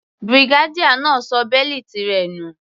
Brigadier náà ṣọ bẹ́lìtì rẹ̀ nù.